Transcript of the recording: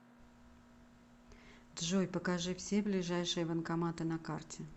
джой покажи все ближайшие банкоматы на карте